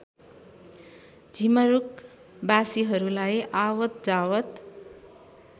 झिमरुक बासीहरूलाई आवतजावत